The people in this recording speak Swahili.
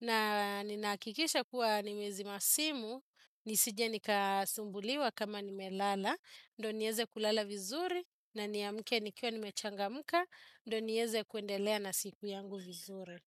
na ninahakikisha kuwa nimezima simu, nisije nikasumbuliwa kama nimelala, ndo nieze kulala vizuri, na niamke nikiwa nimechangamka, ndo nieze kuendelea na siku yangu vizuri.